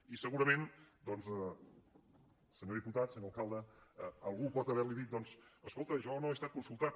i segurament doncs senyor diputat senyor alcalde algú pot haver·li dit escolta jo no he estat consul·tat